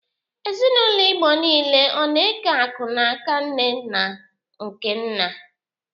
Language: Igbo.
Ezinaụlọ Igbo niile ọ na-eke akụ n'aka nne na nke nna?